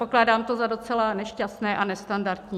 Pokládám to za docela nešťastné a nestandardní.